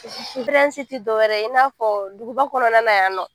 tɛ dɔwɛrɛ in n'a fɔ duguba kɔnɔna na yan nɔ